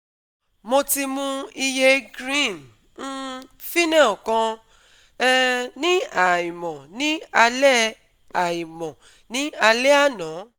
Mo ti mu iye green um phynel kan um ní àìmọ̀ ní alẹ́ àìmọ̀ ní alẹ́ àná